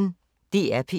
DR P1